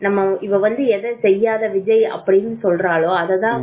ஏன்னா இவ வந்து எதை செய்யாத விஜய் அப்படின்னு சொல்றாலோ அததா